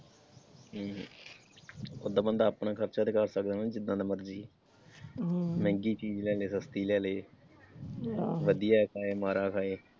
ਹਮ ਓਦਾਂ ਬੰਦਾ ਆਪਣਾ ਖਰਚਾ ਤੇ ਕਰ ਸਕਦਾ ਨਾ ਜਿਦਾਂ ਦਾ ਮਰਜੀ, ਹਮ ਮਹਿੰਗੀ ਚੀਜ਼ ਲੈ ਲੇ ਸਸਤੀ ਲੈ ਲੇ, ਵਧੀਆ ਖਾਏ ਮਾੜਾ ਖਾਏ।